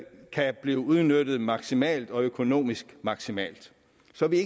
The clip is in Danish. kan blive udnyttet maksimalt og økonomisk maksimalt så vi